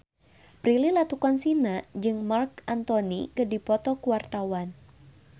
Prilly Latuconsina jeung Marc Anthony keur dipoto ku wartawan